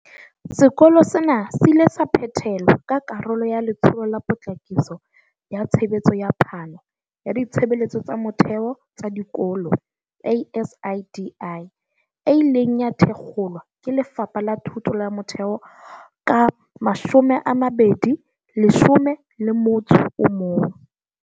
Sekolo sena se ile sa phethelwa ka karolo ya Letsholo la Potlakiso ya Tshebetso ya Phano ya Ditshebeletso tsa Motheo tsa Dikolo ASIDI, e ileng ya thakgolwa ke Lefapha la Thuto ya Motheo ka 2011.